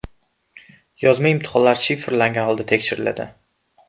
Yozma imtihonlar shifrlangan holda tekshiriladi.